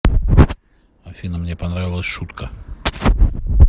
афина мне понравилась шутка